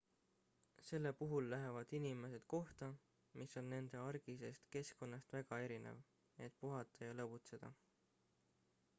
selle puhul lähevad inimesed kohta mis on nende argisest keskkonnast väga erinev et puhata ja lõbutseda